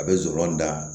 A bɛ zɔrɔn da